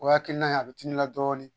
O hakilina in la bɛ dimi i la dɔɔnin.